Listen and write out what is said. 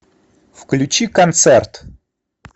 включи концерт